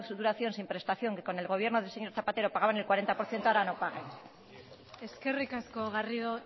duración sin prestación que con el gobierno del señor zapatero pagaban el cuarenta por ciento ahora no paguen eskerrik asko garrido